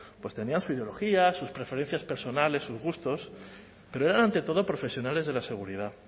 pues tenían su ideología sus preferencias personales sus gustos pero eran ante todo profesionales de la seguridad